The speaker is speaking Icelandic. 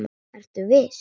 Ertu viss?